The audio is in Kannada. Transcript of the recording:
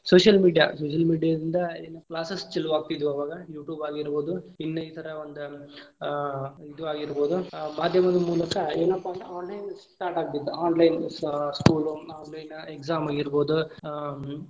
Social media, social media ಇಂದ classes ಚಾಲು ಆಗತಿದ್ವ ಆವಾಗ YouTube ಆಗಿರಬಹುದು ಇನ್ನಾ ಇತರ ಒಂದ್ ಅಹ್ ಇದ್ ಆಗಿರ್ಬ ಹುದು ಮಾಧ್ಯಮದ ಮೂಲಕ ಏನಪ್ಪಾ ಅಂದ್ರ online start ಆಕ್ತಿತ್ online school, online exam ಆಗಿರಬಹುದ ಆ.